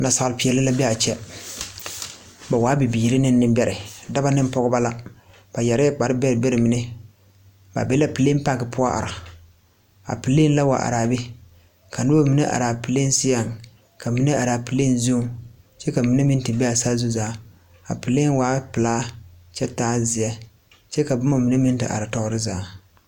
Naasaal peɛɛli la be a kyɛ ba waa bibiire ne neŋbɛrɛ dɔbɔ neŋ pɔgeba la ba yɛrɛɛ kpare bɛrɛ mine ba be la pleen pak poɔ are a pleen la wa araa be ka nobɔ mine araa pleen seɛŋ ka mine araa pleen zuŋ kyɛ ka mine meŋ te bee saazu zaa a pleen waa pilaa kyɛ taa zeɛ kyɛ ka bomma mine meŋ te are toore zaa.